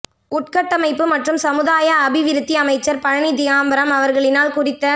உட்கட்டமைப்பு மற்றும் சமுதாய அபிவிருத்தி அமைச்சர் பழனி திகாம்பரம் அவர்களினால் குறித்த